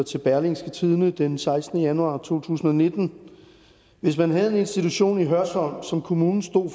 til berlingske tidende den sekstende januar 2019 hvis man havde en institution i hørsholm som kommunen stod